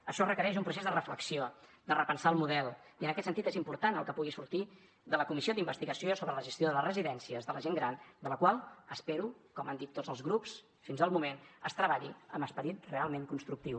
això requereix un procés de reflexió de repensar el model i en aquest sentit és important el que pugui sortir de la comissió d’investigació sobre la gestió de les residències per a gent gran en la qual espero com han dit tots els grups fins al moment que es treballi amb esperit realment constructiu